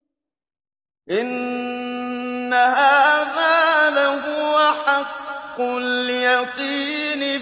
إِنَّ هَٰذَا لَهُوَ حَقُّ الْيَقِينِ